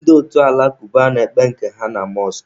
Ndị otu alakuba na-ekpe nke ha na mọskụ.